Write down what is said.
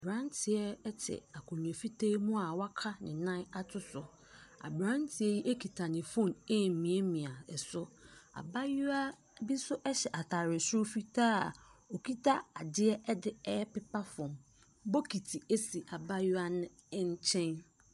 Aberanteɛ te akonnwa fitaa mu a waka ne nan ato so. Aberanteɛ yi kita ne phone remiamia so. Abaayewa bi nso hyɛ atade soro fitaa a ɔkita adeɛ de repepa fam. Bokiti si abaayewa no nkyɛn.